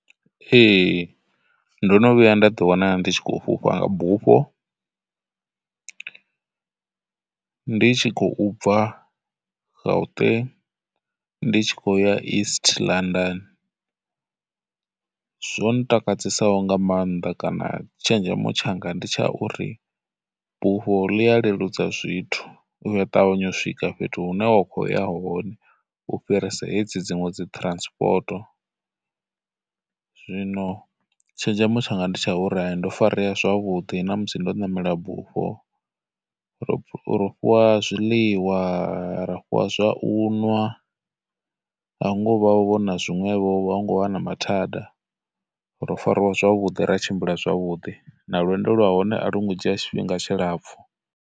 Ee, ndo no vhuya nda ḓi wana ndi tshi khou fhufha nga bufho ndi tshi khou bva Gauteng ndi tshi khou ya East London. Zwo ntakadzesaho nga maanḓa kana tshenzhemo tshanga ndi tsha uri, bufho ḽi a leludza zwithu, u ya ṱavhanya u swika fhethu hune wa khou ya hone u fhirisa hedzi dziṅwe dzi transport. Zwino tshenzhemo tshanga ndi tsha uri ndo farea zwavhuḓi na musi ndo namela bufho, ro ro fhiwa zwiḽiwa, ra fhiwa zwau nwa, a hu ngo vha na vhona zwiṅwevhovho, a hu ngo vha na mathada, ro fariwa zwavhuḓi ra tshimbila zwavhudi, na lwendo lwa hone a lu ngo dzhia tshifhinga tshilapfhu.